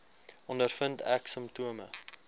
ondervind ek simptome